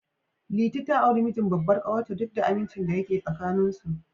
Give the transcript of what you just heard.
Liti ta auri mijin babbar ƙawar ta, duk da amincin da yake tsakanin su.